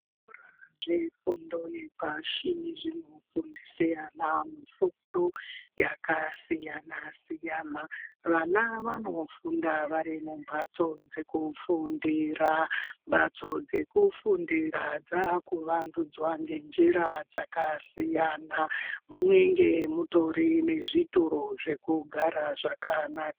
Zvikora zvefundo yepashi zvinofundise ana mufundo yakasiyana-siyana. Vana vanofunda vari mumhatso dzekufundira mhatso dzekufundira dzakuvandudzwa ngenjira dzakasiyana. Munenge mutorine zvitoro zvekugara zvakanaka.